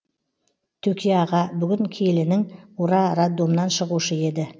төке аға бүгін келінің ура роддомнан шығушы еді